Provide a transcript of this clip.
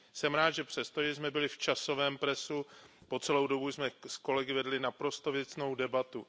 Jsem rád, že přestože jsme byli v časovém presu, po celou dobu jsme s kolegy vedli naprosto věcnou debatu.